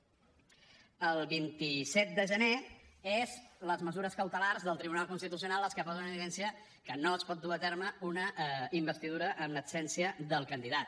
el vint set de gener són les mesures cautelars del tribunal constitucional les que posen en evidència que no es pot dur a terme una investidura en absència del candidat